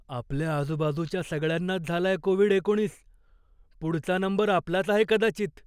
आपल्या आजूबाजूच्या सगळ्यांनाच झालाय कोविड एकोणीस, पुढचा नंबर आपलाच आहे कदाचित.